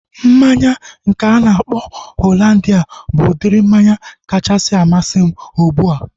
Mmanya nke a na-akpọ Hollandia bụ udiri mmanya kachasị amasị m ugbua